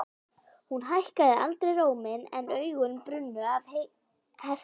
Hún hækkaði aldrei róminn en augun brunnu af heift.